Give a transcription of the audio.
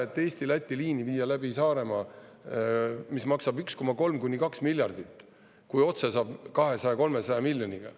Ei ole vaja viia Eesti–Läti liini läbi Saaremaa ja maksta 1,3–2 miljardit eurot, kui otse saab 200–300 miljoniga.